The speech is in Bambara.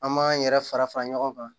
An m'an yɛrɛ fara fara ɲɔgɔn kan